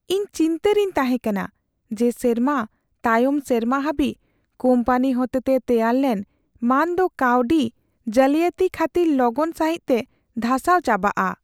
ᱤᱧ ᱪᱤᱱᱛᱟᱹ ᱨᱮᱧ ᱛᱟᱦᱮᱸ ᱠᱟᱱᱟ ᱡᱮ ᱥᱮᱨᱢᱟ ᱛᱟᱭᱚᱢ ᱥᱮᱨᱢᱟ ᱦᱟᱹᱵᱤᱡ ᱠᱳᱢᱯᱟᱱᱤ ᱦᱚᱛᱮᱛᱮ ᱛᱮᱭᱟᱨ ᱞᱮᱱ ᱢᱟᱹᱱ ᱫᱚ ᱠᱟᱹᱣᱰᱤ ᱡᱟᱞᱤᱭᱟᱹᱛᱤ ᱠᱷᱟᱹᱛᱤᱨ ᱞᱚᱜᱚᱱ ᱥᱟᱹᱦᱤᱡᱛᱮ ᱫᱷᱟᱥᱟᱣ ᱪᱟᱵᱟᱜᱼᱟ ᱾